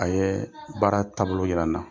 A ye baara taabolo yira n na.